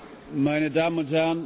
Meine Damen und Herren!